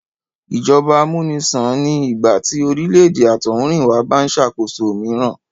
Ìjọba amúnisàn ni ìgbà tí orílè-èdè àtọ̀húnrìnwá bá ń ṣàkóso mìíràn